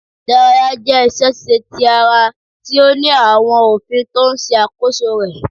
Ìdárayá jẹ́ iṣẹ́- ṣíṣe ti ara tí ó ní àwọn òfin tó ń ṣe àkóso rẹ̀.